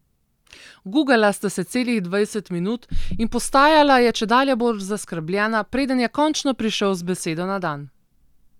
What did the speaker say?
Gugala sta se celih dvajset minut in postajala je čedalje bolj zaskrbljena, preden je končno prišel z besedo na dan.